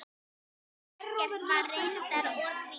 Ekkert var reyndar úr því.